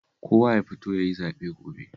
Kowa ya fito ya yi zaɓe gobe